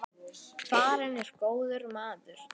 Farinn er góður maður.